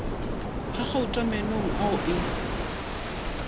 ga gauta meenong ao e